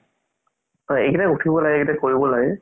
হয় উথিব লাগে কৰিব লাগে